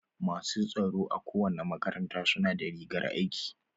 Masu tsaro a kowane makaranta su na da rigar aiki.